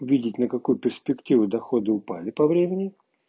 увидеть на какую перспективу доходы упали по времени